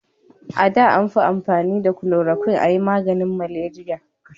A da an fi amfani da kulorokwin a yi maganin maleriya